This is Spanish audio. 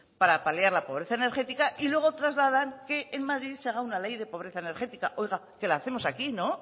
para paliar la pobreza energética y luego trasladan que en madrid se haga una ley de pobreza energética oiga que la hacemos aquí no